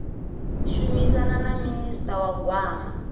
shumisana na minista wa gwama